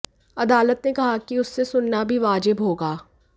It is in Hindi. अदालत ने कहा कि उससे सुनना भी वाजिब होगा